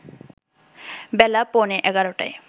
বেলা পৌনে ১১টায়